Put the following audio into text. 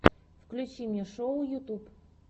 включи мне шоу ютьюб